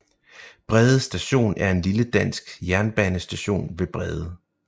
Brede Station er en lille dansk jernbanestation ved Brede